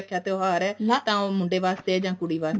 ਤਿਉਹਾਰ ਹੈ ਉਹ ਮੁੰਡੇ ਵਾਸਤੇ ਹੈ ਜਾਂ ਕੁੜੀ ਵਾਸਤੇ ਹੈ